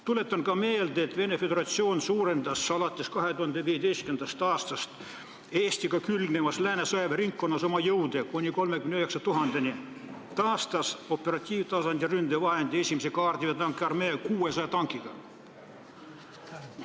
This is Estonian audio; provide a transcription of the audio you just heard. Tuletan ka meelde, et Venemaa Föderatsioon suurendas alates 2015. aastast Eestiga külgnevas Lääne sõjaväeringkonnas oma jõude kuni 39 000-ni ja taastas operatiivtasandi ründejõu, 1. kaardiväe tankiarmee 600 tankiga.